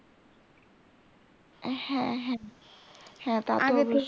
হ্যাঁ হ্যাঁ তা তো আগে থেকে